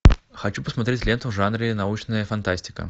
хочу посмотреть ленту в жанре научная фантастика